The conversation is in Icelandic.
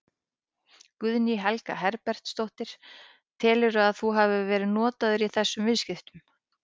Guðný Helga Herbertsdóttir: Telurðu að þú hafi verið notaður í þessum viðskiptum?